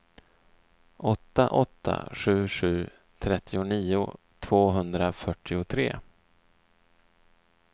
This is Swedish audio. åtta åtta sju sju trettionio tvåhundrafyrtiotre